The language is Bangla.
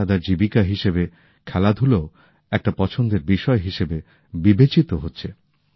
পেশাগত জীবিকা হিসাবে খেলাধুলাও একটি পছন্দের বিষয় হিসেবে বিবেচিত হচ্ছে